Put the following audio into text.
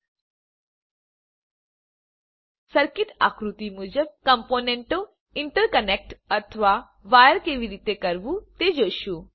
હવે આપણે સર્કિટ આકૃતિ મુજબ કમ્પોનન્ટો ઇન્ટરકનેક્ટ અથવા વાયર કેવી રીતે કરવું તે જોશું